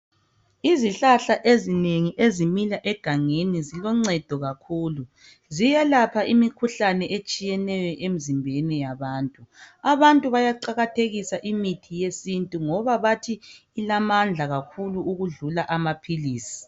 Izihlahla ezinengi ezimila egangeni ziloncedo kakhulu. Ziyalapha imikhuhlane etshiyeneyo emzimbeni yabantu. Abantu bayaqakathekisa imithi yesintu ngoba bathi ilamandla kakhulu ukudlula amaphilisi.